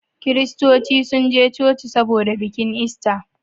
kiristoci sun je coci saboda bikin ista